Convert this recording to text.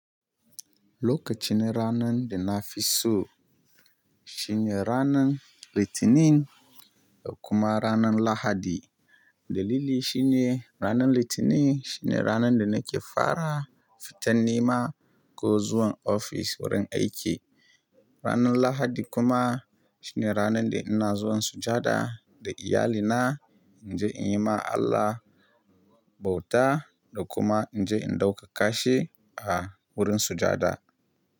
Lokacin ranan da na fi so shine ranan Litinin da kuma ranan Lahadi. Dalili shine ranan Litinin shine ranan da nake fara fitan nema ko zuwan ofis wurin aiki. Ranan Lahadi kuma shine ranan da ina zuwan sujjada da iyalina, in je in yi ma Allah bauta da kuma in je in ɗauka kashi a wurin sujada.